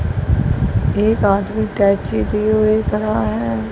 एक आदमी कैंची लिए हुए खड़ा है।